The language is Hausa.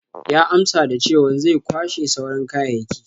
Ya amsa da chewan zai kwashe sauran kayayyaki.